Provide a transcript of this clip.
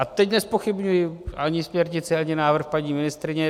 A teď nezpochybňuji ani směrnici, ani návrh paní ministryně.